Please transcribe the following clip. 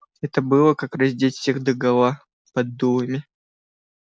это было как раздеть всех догола под дулами